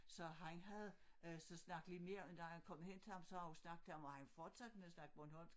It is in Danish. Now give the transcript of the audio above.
Så han havde øh så snakket lidt mere da han kom hen til ham så havde han snakket til ham og han fortsatte med at snakke bornholmsk